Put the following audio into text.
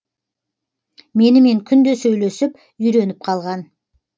менімен күнде сөйлесіп үйреніп қалған